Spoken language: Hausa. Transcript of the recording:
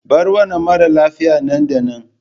Bar wannan mara lafiya nan da nan!